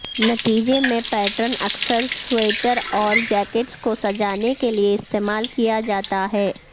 نتیجے میں پیٹرن اکثر سویٹر اور جیکٹس کو سجانے کے لئے استعمال کیا جاتا ہے